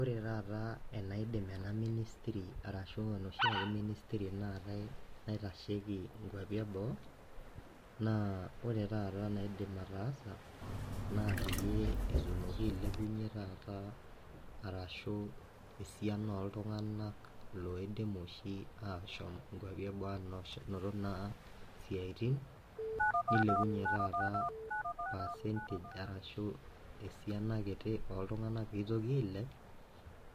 Ore taata enaidim ena ministry arashu enoshiake ministry naatae naitasheki inkuapi eboo naa ore taata naidim ataasa naa peyie etumoki ailepunyie taata arashu esiana oltung'anak loidim oshi ashom inkuapi eboo anoto naa siatin nelepunyie taata percentage arashu esiana kiti oltung'anak pitoki ailep